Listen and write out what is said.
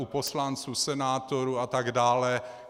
U poslanců, senátorů atd.